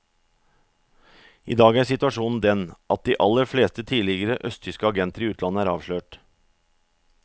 I dag er situasjonen den at de aller fleste tidligere østtyske agenter i utlandet er avslørt.